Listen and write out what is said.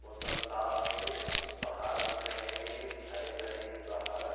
मोसम साफ़ है। पहाड़ दिख रहे हैं। हरे-भरे हैं पहाड़।